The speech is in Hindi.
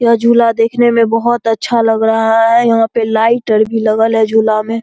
यह झूला देखने में बहोत अच्छा लग रहा है यहा पे लाइट अर भी लगल है झुला में।